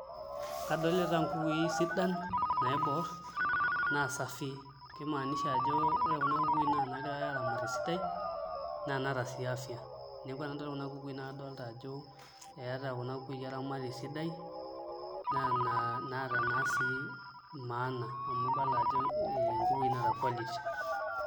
Kadolita nkukui sidan naiboorr naa safii kimanisha ajo ore kuna kukui naa inaagirai aaramat esidai naa inaata sii afya neeku enadol kunakukui naa kadolta ajo eeta kuna kukui oramatiei sidai naa inaata naa sii maana amu ibala ajo nkukui naata quality.